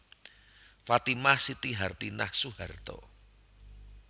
Fatimah Siti Hartinah Soeharto